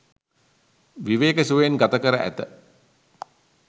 විවේක සුවයෙන් ගත කර ඇත.